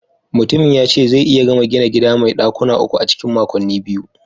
Mai gini yace zai iya gama gina gida mai dakuna uku a cikin makonni biyu